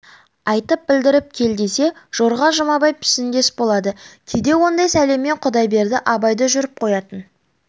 айтып білдіріп кел десе жорға жұмабай пішіндес болады кейде ондай сәлеммен құдайберді абай да жүріп қоятын